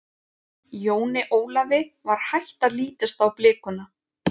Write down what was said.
Jóni Ólafi var hætt að lítast á blikuna.